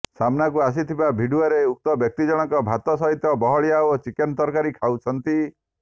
ସାମ୍ନାକୁ ଆସିଥିବା ଭିଡିଓରେ ଉକ୍ତ ବ୍ୟକ୍ତି ଜଣଙ୍କ ଭାତ ସହିତ ବହଳିଆ ଓ ଚିକେନ ତରକାରି ଖାଉଛନ୍ତି